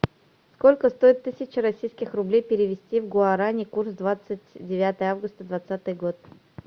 сколько стоит тысяча российских рублей перевести в гуарани курс двадцать девятое августа двадцатый год